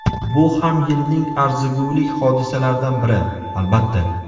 Bu ham yilning arzigulik hodisalaridan biri, albatta.